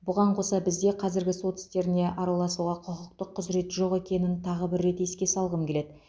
бұған қоса бізде қазіргі сот істеріне араласауға құқықтық құзірет жоқ екенін тағы бір еске салғым келеді